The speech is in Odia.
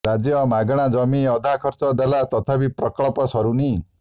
ରାଜ୍ୟ ମାଗଣା ଜମି ଅଧା ଖର୍ଚ୍ଚ ଦେଲା ତଥାପି ପ୍ରକଳ୍ପ ସରୁନି